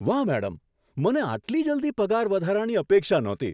વાહ, મેડમ! મને આટલી જલ્દી પગારવધારાની અપેક્ષા નહોતી!